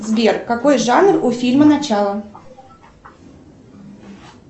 сбер какой жанр у фильма начало